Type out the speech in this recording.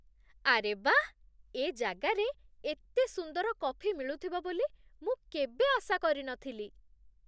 ଆରେ ବାଃ! ଏ ଜାଗାରେ ଏତେ ସୁନ୍ଦର କଫି ମିଳୁଥିବ ବୋଲି ମୁଁ କେବେ ଆଶା କରି ନ ଥିଲି ।